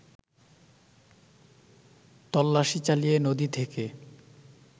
তল্লাশি চালিয়ে নদী থেকে